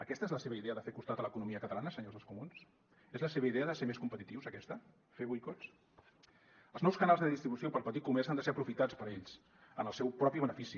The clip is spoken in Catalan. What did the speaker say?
aquesta és la seva idea de fer costat a l’economia catalana senyors dels comuns és la seva idea de ser més competitius aquesta fer boicots els nous canals de distribució per al petit comerç han de ser aprofitats per ells en el seu propi benefici